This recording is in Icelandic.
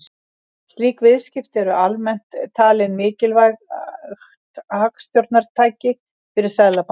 Slík viðskipti eru almennt talin mikilvægt hagstjórnartæki fyrir seðlabanka.